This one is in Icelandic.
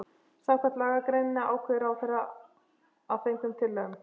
Samkvæmt lagagreininni ákveður ráðherra að fengnum tillögum